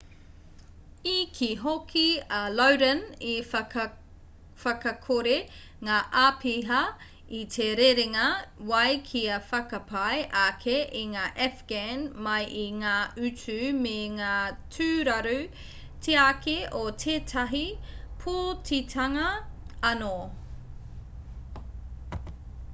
i kī hoki a lodin i whakakore ngā āpiha i te rerenga wai kia whakapai ake i ngā afghan mai i ngā utu me ngā tūraru tiaki o tētahi pōtitanga anō